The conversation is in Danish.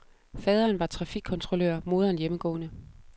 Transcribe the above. Faderen var trafikkontrollør, moderen hjemmegående.